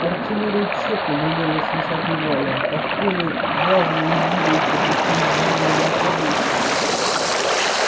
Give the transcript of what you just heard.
артиллерия тщетно гремела с высоты вала а в поле вязла и не двигалась по причине изнурения лошадей